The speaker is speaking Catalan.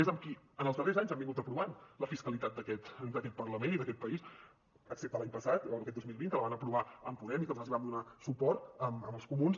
és amb qui en els darrers anys han aprovat la fiscalitat d’aquest parlament i d’aquest país excepte l’any passat o aquest dos mil vint que la van aprovar amb podem i que nosaltres hi vam donar suport amb els comuns